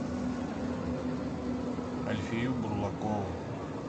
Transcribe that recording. альфию бурлакову